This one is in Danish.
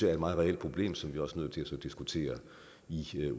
er et meget reelt problem som vi også er nødt til at få diskuteret i